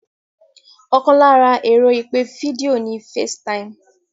Ọkàn lára ẹ̀rọ ìpè fídíò ni FaceTime